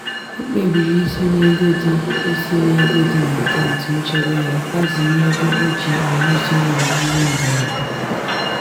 o kpebiri isi n'ego dị isi n'ego dị n'akaụntụ nchebe ya gbaziri ego o ji arụzi ụlọ ihe mberede.